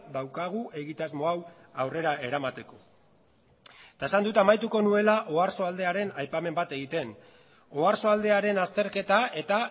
daukagu egitasmo hau aurrera eramateko eta esan dut amaituko nuela oarsoaldearen aipamen bat egiten oarsoaldearen azterketa eta